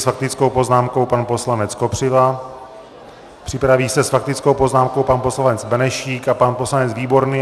S faktickou poznámkou pan poslanec Kopřiva, připraví se s faktickou poznámkou pan poslanec Benešík a pan poslanec Výborný.